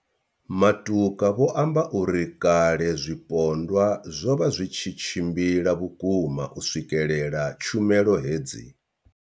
Matuka vho amba uri kale zwipondwa zwo vha zwi tshi tshimbila vhukuma u swikelela tshumelo hedzi.